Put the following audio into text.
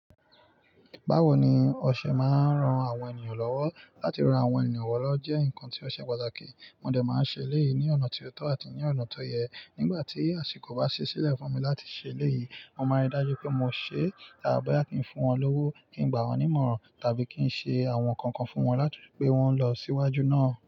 Báwo ni ọṣẹ máa ń ran àwọn ènìyàn lọ́wọ́? Látí ran àwọn ènìyàn wọ́lọ́ jẹ́ ǹnkan tí ọṣẹ pàtàkì. Mo dẹ̀ má ń ṣe èléyìí ní ọ̀nà tí ó tọ̀ àti ní ọ̀nà tó yẹ. Nígbà tí àsìkò bá ṣẹ́ sílẹ̀ fún mi láti ṣe èléyìí, mo máa rí i dájú pé mo ṣe é ah boya kì í fún wọn lówó, kí n gbà wọ́n nímọ̀ràn tàbí kí n ṣe àwọn nǹkankan fún wọn láti fi pé wọ́n lọ síwájú náà.